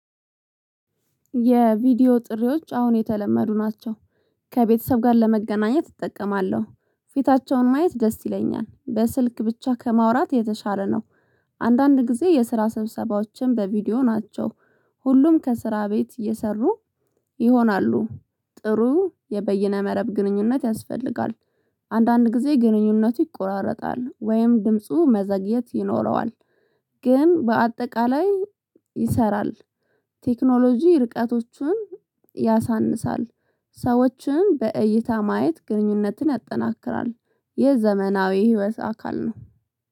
የቪዲዮ ጥሪዎች አሁን የተለመዱ ናቸው። ከቤተሰብ ጋር ለመገናኘት እጠቀማለሁ። ፊታቸውን ማየት ደስ ይለኛል በስልክ ብቻ ከማውራት የተሻለ ነው። አንዳንድ ጊዜ የስራ ሰብሰባዎችን በቪዲዮ ናቸው። ሁሉም ከስራ ቤት የሰሩ ይሆናሉ። ጥሩ የበይነ መረብ ግንኙነት ያስፈልጋል። አንዳንድ ጊዜ ግንኙነቱ ይቆራረጣል ወይም ድምፁ መዘግየት ይኖረዋል። ግን በአጠቃላይ ይሰራል። ቴክኖሎጂ ርቀቶችን ያሳንሳል ሰዎችን በእይታ ማየት ግንኙነትን ያጠናክራል። የዘመናዊ ህይወት አካል ነው